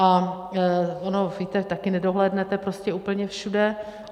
A ono, víte, také nedohlédnete prostě úplně všude.